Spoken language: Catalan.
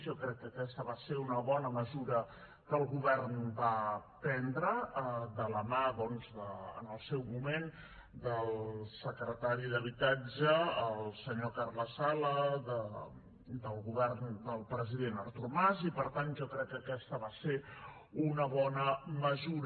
jo crec que aquesta va ser una bona mesura que el govern va prendre de la mà en el seu moment del secretari d’habitatge el senyor carles sala del govern del president artur mas i per tant jo crec que aquesta va ser una bona mesura